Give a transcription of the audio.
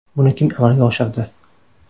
Buni kim amalga oshirdi?